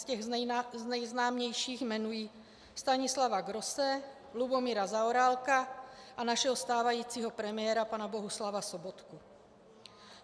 Z těch nejznámějších jmenuji Stanislava Grosse, Lubomíra Zaorálka a našeho stávajícího premiéra pana Bohuslava Sobotku.